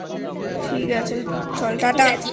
ঠিক আছে চল TataI